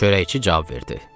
Çörəkçi cavab verdi.